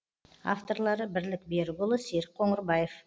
авторлары бірлік берікұлы серік қоңырбаев